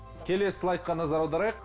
келесі слайдқа назар аударайық